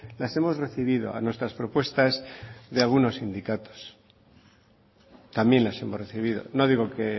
las hemos recibido a nuestras propuestas de algunos sindicatos también las hemos recibido no digo que